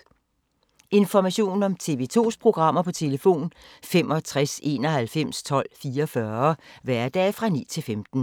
Information om TV 2's programmer: 65 91 12 44, hverdage 9-15.